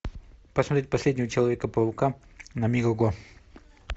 посмотреть последнего человека паука на мегого